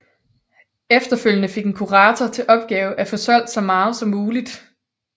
Efterfølgende fik en kurator til opgave at få solgt så meget fra som muligt